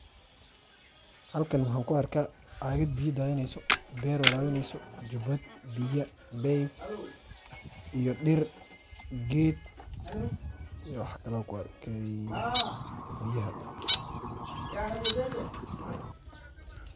Halkaan maxaan kuarkaa cagaad biyaa dathineyso, ber warawineyso, jubaad, biyaa, beb iyo diir geed iyo waax kalee kuarke biyaaha .